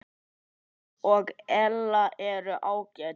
Hann og Ella eru ágæt.